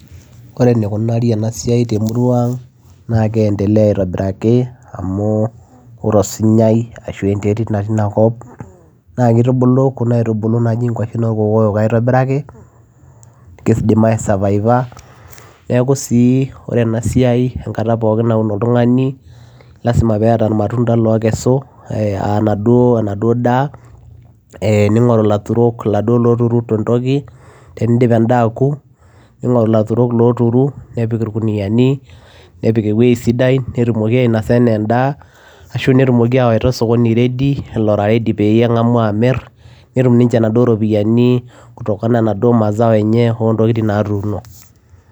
ore enikunari ena siai temurua ang naa kiendelea aitobiraki amu ore osinyai ashu enterit natii inakop naa kitubulu kuna aitubulu naaji inkuashen orkokoyok aitobiraki kidim ae savaiva neeku sii ore ena siai enkata pookin naun oltung'ani lasima peeta irmatunda lokesu uh iladuo enaduo daa eh ninng'oru ilaturok iladuo loturu tentoki tenindip endaa aku ning'oru ilaturok loturu nepik irkuniani nepik ewueji sidai netumoki ainasa enaa endaa ashu netumoki awaita osokoni ora ready lora ready peyie eng'amu amirr netum ninche inaduo ropiyiani kutokana enaduo mazao enye ontokitin natuuno.